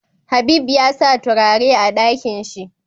Habib yasa turare a Ɗakinshi